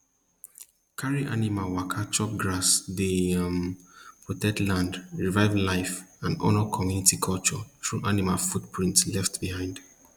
carry animal waka chop grass dey um protect land revive life and honor community culture through animal footprints left behind